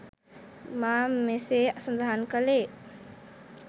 මා මෙසේ සඳහන් කළේ